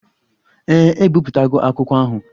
Ee, ebipụtago akwụkwọ ahụ.